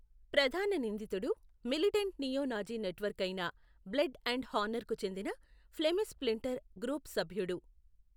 ప్రధాన నిందితుడు militant neo Nazi network అయిన బ్లడ్ అండ్ హానర్కు చెందిన ఫ్లెమిష్ స్ప్లింటర్ గ్రూపు సభ్యుడు.